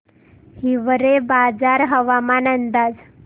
हिवरेबाजार हवामान अंदाज